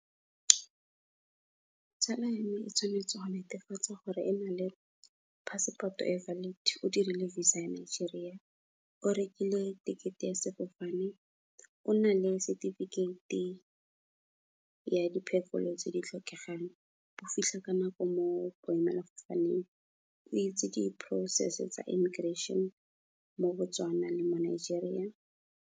Tsala ya me, e tshwanetse wa netefatsa gore e na le passport-o e valid, o dirile visa ya Nigeria, o rekile ticket-e ya sefofane, o na le certificate-e la diphefolo tse di tlhokegang, o fitlha ka nako mo boemelafofaneng, o itse di-process-e tsa immigration mo Botswana le mo Nigeria.